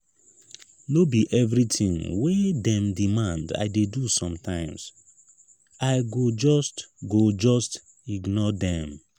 no be everytin wey dem demand i dey do sometimes i go just go just ignore dem